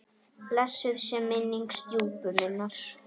Blessuð sé minning stjúpu minnar.